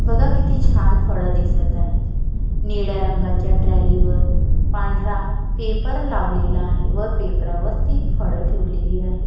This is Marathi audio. बघा किती छान फळ दिसत आहे निळ्या रंगाच्या ट्रालीवर पांढरा पेपर लावलेला आहे व पेपरावरती फळ ठेवलेली आहे.